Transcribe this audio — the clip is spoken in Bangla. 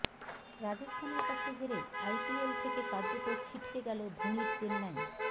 রাজস্থানের কাছে হেরে আইপিএল থেকে কার্যত ছিটকে গেল ধোনির চেন্নাই